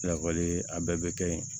Lakɔli a bɛɛ bɛ kɛ yen